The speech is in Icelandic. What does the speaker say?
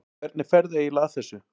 Hvernig ferðu eiginlega að þessu?